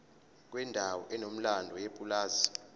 kwendawo enomlando yepulazi